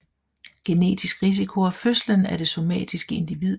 Genetisk risiko og fødslen af det somatiske individ